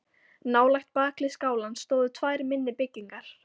Nálægt bakhlið skálans stóðu tvær minni byggingar.